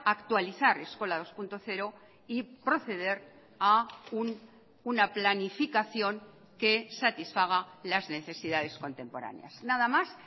actualizar eskola dos punto cero y proceder a una planificación que satisfaga las necesidades contemporáneas nada más